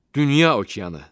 Dünya okeanı.